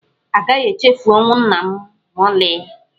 A gaghị echefu ọnwụ nna m ma ọlị.